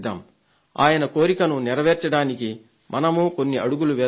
ఆయన కోరికను నెరవేర్చడానికి మనమూ కొన్ని అడుగులు వేద్దాం